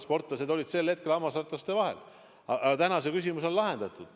Sportlased olid sel hetkel hammasrataste vahel, aga tänaseks on see küsimus lahendatud.